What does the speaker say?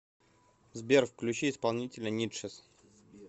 сбер включи исполнителя нидшес